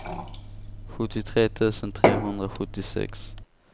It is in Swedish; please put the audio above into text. sjuttiotre tusen trehundrasjuttiosex